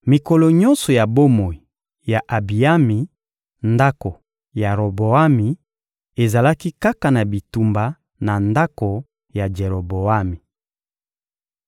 Mikolo nyonso ya bomoi ya Abiyami, ndako ya Roboami ezalaki kaka na bitumba na ndako ya Jeroboami. (2Ma 13.22-23)